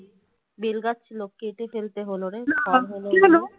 bell গাছ ছিল কেটে ফেলতে হলো রে